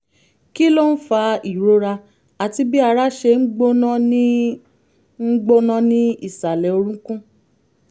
kí ló ń fa ìrora àti bí ara ṣe ń gbóná ní ń gbóná ní ìsàlẹ̀ orúnkún?